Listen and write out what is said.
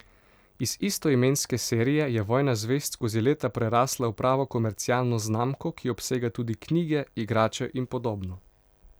Iz istoimenske serije je Vojna zvezd skozi leta prerasla v pravo komercialno znamko, ki obsega tudi knjige, igrače in podobno.